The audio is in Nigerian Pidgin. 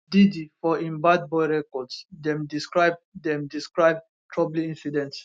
diddy for im bad boy records dem describe dem describe troubling incidents